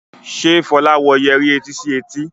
Ṣe Fola wò Yẹrí etí sí etí?